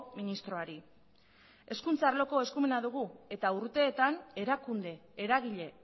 ministroari hezkuntza arloko eskumena dugu eta urteetan erakunde eragile